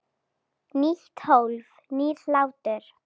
Nýtt hólf- nýr hlátur